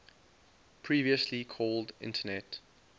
previously called internet